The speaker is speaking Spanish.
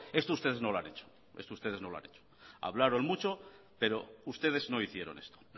esto ustedes no lo ha hecho hablaron mucho pero ustedes no hicieron esto